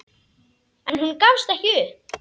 En hún gafst ekki upp.